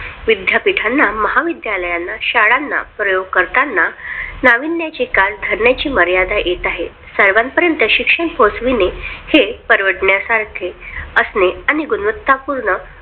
विद्यापीठांना महाविद्यालयांना शाळांना प्रयोग करताना नाविन्याची कास धरण्याची मर्यादा येत आहे. साहेबांपर्यंत शिक्षण पोहोचवणे हे परवडण्यासारखे असणे आणि गुणवत्ता पूर्ण